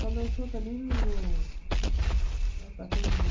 Só dançou também no no Pacaembu.